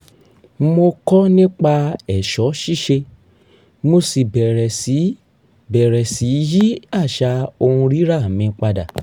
mo kọ́ nipa è̩s̩ó̩ sís̩e mo sì bẹ̀rẹ̀ sí í bẹ̀rẹ̀ sí í yí às̩à ohun rírà mi padà